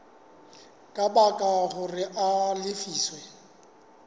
ka baka hore a lefiswe